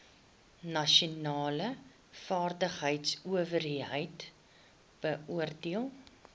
nasionale vaardigheidsowerheid beoordeel